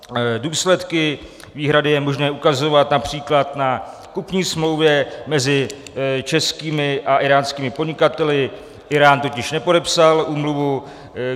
Důsledky výhrady je možné ukazovat například na kupní smlouvě mezi českými a íránskými podnikateli, Írán totiž nepodepsal úmluvu.